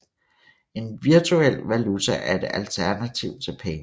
En virtuel valuta er et alternativ til penge